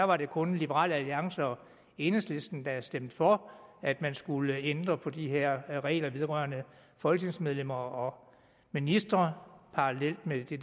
var det kun liberal alliance og enhedslisten der stemte for at man skulle ændre på de her regler vedrørende folketingsmedlemmer og ministre parallelt med det